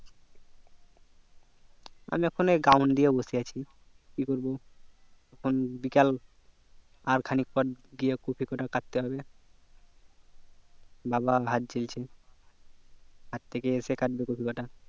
আমি এখন এই ground দিয়ে বসে আছি কি করবো এখন বিকাল আর খানিক পর গিয়ে কপি কতা কাটতে হবে বাবা হাট গেলছে হাট থেকে এসে কাটবে কপি কটা